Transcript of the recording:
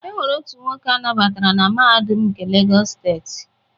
E nwere otu nwoke a nabatara na Mahadum nke Legọs steeti.